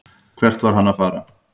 Hvert var hann að fara?